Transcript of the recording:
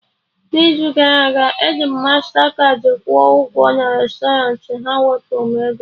N'izu gara aga, eji m mastakaadị kwụọ ụgwọ na restọrant, ha wepụrụ m ego